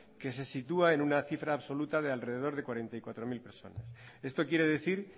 que se sitúa en una cifra absoluta de alrededor de cuarenta y cuatro mil personas esto quiere decir